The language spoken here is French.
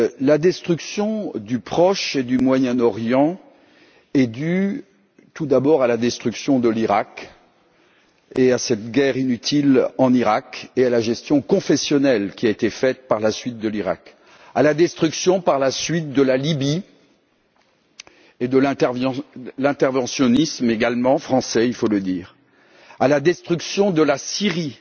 La destruction du Proche et du Moyen Orient est due tout d'abord à la destruction de l'Iraq et à cette guerre inutile en Iraq, à la gestion confessionnelle qui a ensuite été faite de l'Iraq, à la destruction par la suite de la Libye, à l'interventionnisme également français, il faut le dire ainsi qu'à la destruction de la Syrie.